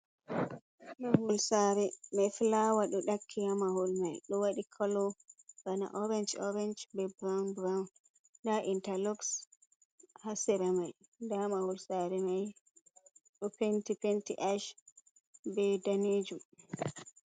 Mahol sare be fulawa ɗo ɗakki hamahol mai, ɗo waɗi kolo bana orenj orenj, be burawun buruwun, nda intalox, ha sera mai, nda mahol sare mai ɗo penti, penti ash be danejuum.